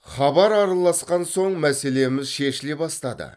хабар араласқан соң мәселеміз шешіле бастады